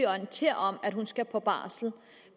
orienterer om at hun skal på barsel